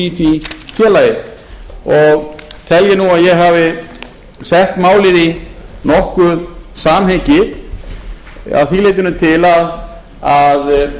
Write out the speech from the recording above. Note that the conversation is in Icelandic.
í því félagi og tel ég nú að ég hafi sett málið í nokkuð samhengi að því leytinu til að